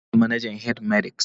Tukur shine manajan H-medics